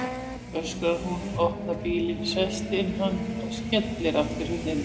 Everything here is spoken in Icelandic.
öskrar hún, opnar bílinn, sest inn í hann og skellir aftur hurðinni.